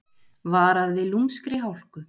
Varað við lúmskri hálku